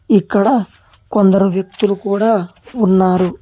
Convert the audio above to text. ఇక్కడ కొందరు వ్యక్తులు కూడా ఉన్నారు.